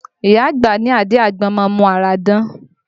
Ìyá àgbà ní àdí àgbọn má ń mu ara dán